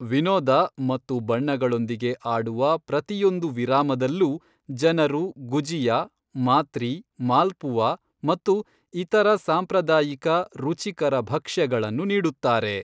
ವಿನೋದ ಮತ್ತು ಬಣ್ಣಗಳೊಂದಿಗೆ ಆಡುವ ಪ್ರತಿಯೊಂದು ವಿರಾಮದಲ್ಲೂ ಜನರು ಗುಜಿಯಾ, ಮಾತ್ರಿ, ಮಾಲ್ಪುವಾ ಮತ್ತು ಇತರ ಸಾಂಪ್ರದಾಯಿಕ ರುಚಿಕರ ಭಕ್ಷ್ಯಗಳನ್ನು ನೀಡುತ್ತಾರೆ.